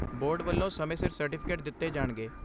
Board ਵੱਲੋਂ ਸਮੇਂ ਸਿਰ ਸਰਟੀਫਿਕੇਟ ਦਿੱਤੇ ਜਾਣਗੇ।